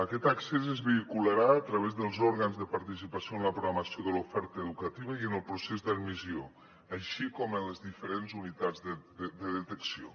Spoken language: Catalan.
aquest accés es vehicularà a través dels òrgans de participació en la programació de l’oferta educativa i en el procés d’admissió així com en les diferents unitats de detecció